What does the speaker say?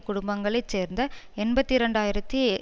குடும்பங்களைச் சேர்ந்த எண்பத்தி இரண்டு ஆயிரத்தி